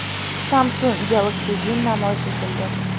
Samsung Galaxy Win namoyish etildi.